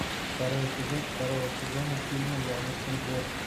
второй эпизод второго сезона фильма яблочный двор